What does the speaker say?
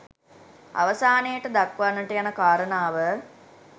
අවසානයට දක්වන්නට යන කාරණාව